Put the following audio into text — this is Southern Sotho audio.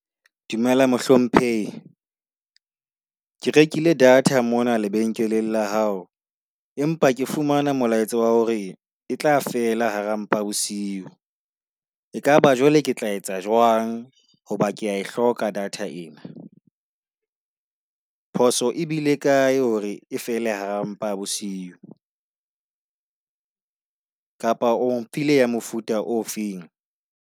Dumela mohlomphehi. Ke rekile data mona lebenkeleng la hao, empa ke fumana molaetsa wa hore e tla fela hara mpa bosiu. Ekaba jwale ke tla etsa jwang hoba kea e hloka data ena. Phoso e bile kae hore e fele hara mpa bosiu? Kapa o mphile ya mofuta ofeng?